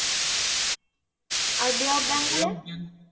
R bay of Bengal এর